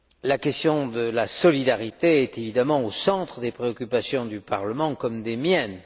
La question de la solidarité est évidemment au centre des préoccupations du Parlement, comme des miennes.